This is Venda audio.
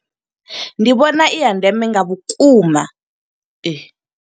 Ndi vhona i ya ndeme nga vhukuma .